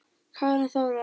Karen Þóra.